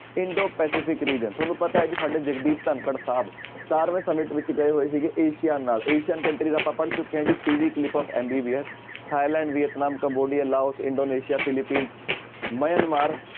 Indo Pacific region ਤੁਹਾਨੂੰ ਪਤਾ ਹੈ ਵੀ ਸਾਡੇ ਧਾਕੜ ਸਾਹਿਬ ਸਤਾਰਵੇਂ summit ਵਿੱਚ ਗਏ ਹੋਏ ਸੀਗੇ ਏਸੀਆ ਨਾਲ ਏਸੀਅਨ country ਆਪਾਂ ਪੜ੍ਹ ਚੁੱਕੇ ਹਾਂ ਜੀ TV clip of MBBS Thailand, Vietnam, Cambodia, Laos, Indonesia, Philippine, Myanmar